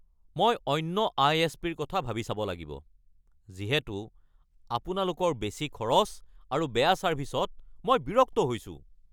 মই অন্য আই.এচ.পি.ৰ কথা ভাবি চাব লাগিব যিহেতু আপোনালোকৰ বেছি খৰচ আৰু বেয়া ছাৰ্ভিচত মই বিৰক্ত হৈছোঁ।